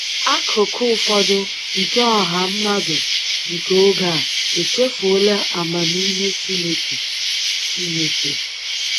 Akụkụ ụfọdụ nke ọha mmadụ nke oge a echefuola amamihe Chineke. Chineke.